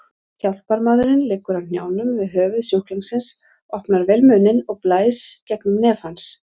Hjálparmaðurinn liggur á hnjánum við höfuð sjúklingsins, opnar vel munninn og blæs gegnum nef hans.